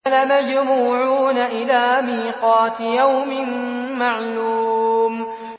لَمَجْمُوعُونَ إِلَىٰ مِيقَاتِ يَوْمٍ مَّعْلُومٍ